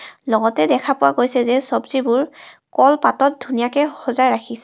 লগতে দেখা পোৱা গৈছে যে চবজী বোৰ কল পাতত ধুনিয়াকে সজাই ৰাখিছে.